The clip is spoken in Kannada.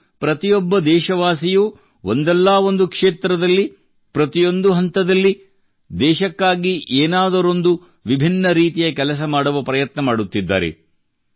ಇಂದು ಪ್ರತಿಯೊಬ್ಬ ದೇಶವಾಸಿಯೂ ಒಂದಲ್ಲಾ ಒಂದು ಕ್ಷೇತ್ರದಲ್ಲಿ ಪ್ರತಿಯೊಂದು ಹಂತದಲ್ಲಿ ದೇಶಕ್ಕಾಗಿ ಏನಾದರೊಂದು ವಿಭಿನ್ನರೀತಿಯ ಕೆಲಸ ಮಾಡುವ ಪ್ರಯತ್ನ ಮಾಡುತ್ತಿದ್ದಾರೆ